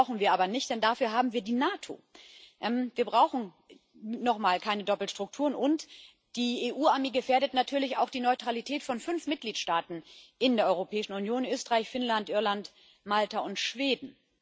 Das brauchen wir aber nicht, denn dafür haben wir die NATO. Wir brauchen nun mal keine Doppelstrukturen, und die EU Armee gefährdet natürlich auch die Neutralität von fünf Mitgliedstaaten in der Europäischen Union Österreich, Finnland, Irland, Malta und Schweden.